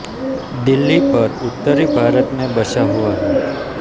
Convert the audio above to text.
दिल्ली पर उत्तरी भारत में बसा हुआ है